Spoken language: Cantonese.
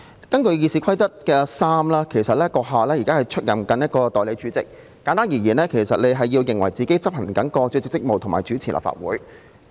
根據《議事規則》第3條，閣下其實現時是出任代理主席一職，簡單而言，你認為自己能執行主席職務和主持立法會。